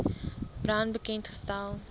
brown bekend gestel